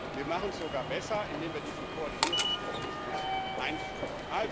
Wir machen es sogar besser, indem wir diesen Koordinierungsmechanismus einführen.